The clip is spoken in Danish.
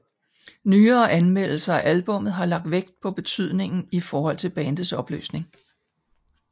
Nyere anmeldelser af albummet har lagt vægt på betydningen i forhold til bandets opløsning